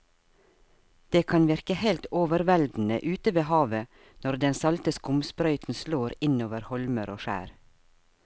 Det kan virke helt overveldende ute ved havet når den salte skumsprøyten slår innover holmer og skjær.